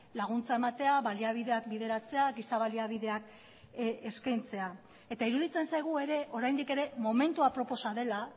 laguntza ematea baliabideak bideratzea giza baliabideak eskaintzea eta iruditzen zaigu ere oraindik ere momentu aproposa dela